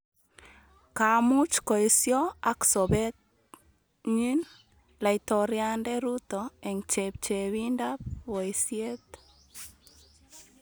ka much koesyo ak sobet nyin laitoriande Ruto eng' chepchebindab boisiet